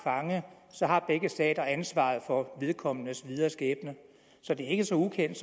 fange så har begge stater ansvaret for vedkommendes videre skæbne så det er ikke så ukendt